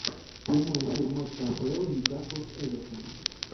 прямой эфир матча апл ньюкасла с эвертоном